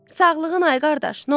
Sağlığın ay qardaş, nə olacaq?